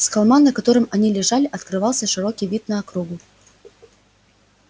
с холма на котором они лежали открывался широкий вид на округу